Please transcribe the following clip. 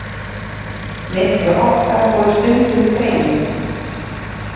Milli okkar voru stundum greinir.